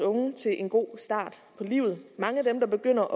unge til en god start på livet mange af dem der begynder